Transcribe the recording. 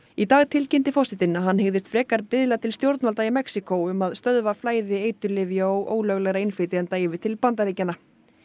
í dag tilkynnti forsetinn að hann hyggðist frekar biðla til stjórnvalda í Mexíkó um að stöðva flæði eiturlyfja og ólöglegra innflytjenda yfir til Bandaríkjanna